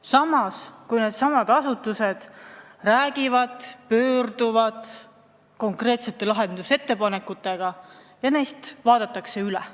Samas, kui needsamad asutused pöörduvad konkreetsete lahendusettepanekutega Riigikogu poole, siis neist vaadatakse üle.